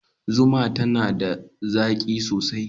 Zuma tana da zaƙi sosai.